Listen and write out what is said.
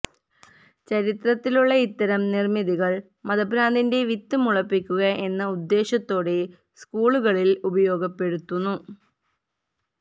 ചരിത്രത്തിലുള്ള ഇത്തരം നിര്മ്മിതികള് മതഭ്രാന്തിന്റെ വിത്ത് മുളപ്പിക്കുക എന്ന ഉദ്ദേശ്യത്തോടെ സ്കൂളുകളില് ഉപയോഗപ്പെടുത്തുന്നു